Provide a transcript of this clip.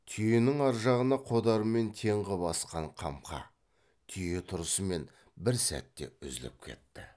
түйенің ар жағына қодармен тең қып асқан қамқа түйе тұрысымен бір сәтте үзіліп кетті